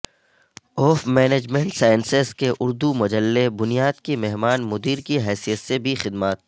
اوف management sciences کے اردو مجلے بنیاد کی مہمان مدیر کی حیثیت سے بھی خدمات